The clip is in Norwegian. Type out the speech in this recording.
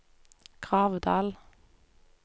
Gravdal